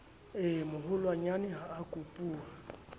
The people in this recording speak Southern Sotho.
e moholwanyane ha a kopuwa